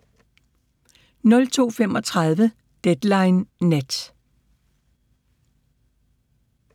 02:35: Deadline Nat